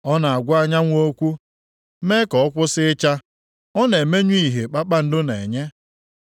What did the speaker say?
Ọ na-agwa anyanwụ okwu mee ka ọ kwụsị ịcha; ọ na-emenyụ ìhè kpakpando na-enye.